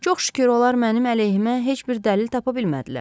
Çox şükür, onlar mənim əleyhimə heç bir dəlil tapa bilmədilər.